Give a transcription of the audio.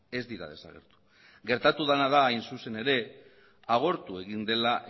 ez dira desagertu gertatu dena da hain zuzen ere agortu egin dela